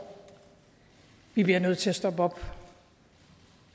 vi bliver nødt til at stoppe op